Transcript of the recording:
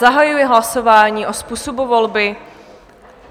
Zahajuji hlasování o způsobu volby.